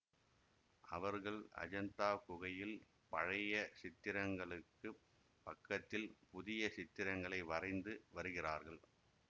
அவர்கள் அஜந்தா குகையில் பழைய சித்திரங்களுக்குப் பக்கத்தில் புதிய சித்திரங்களை வரைந்து வருகிறார்கள்